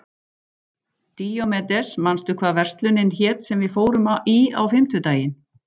Díómedes, manstu hvað verslunin hét sem við fórum í á fimmtudaginn?